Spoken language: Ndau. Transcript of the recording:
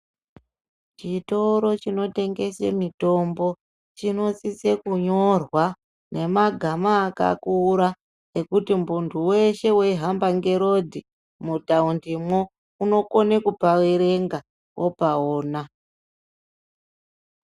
Chitoro chinotengese mitombo chinosise kunyorwa ngemagama akakura ekuti muntu weshe weihamba ngeparodhi mutaundimwo unokone kupaerenga opaona.